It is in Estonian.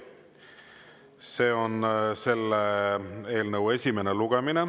See on selle eelnõu esimene lugemine.